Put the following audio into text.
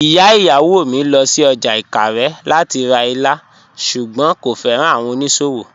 Ìyà ìyáwó mí lọ sí ọ́jà Ìkàrè lati rá ìlà, ṣùgbọ́n kò fẹ́ran awọn onísòwò.